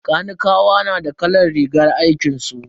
Kanikawa na da kalar rigar aikinsu.